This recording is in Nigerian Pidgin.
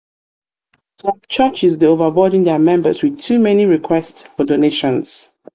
some churches dey overburden dia members with members with too many request for donations.